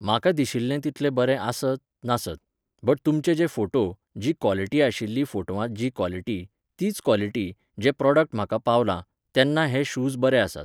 म्हाका दिशिल्लें तितले बरे आसत, नासत. बट तुमचे जे फोटो, जी कॉलिटी आशिल्ली फोटवांत जी कॉलिटी, तीच कॉलिटी, जें प्रॉडक्ट म्हाका पावलां, तेन्ना हे शूज बरे आसात.